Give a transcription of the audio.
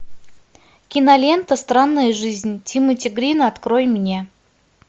кинолента странная жизнь тимоти грина открой мне